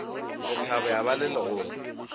lethabo ya ba le legolo